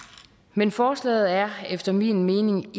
men forslaget er efter min mening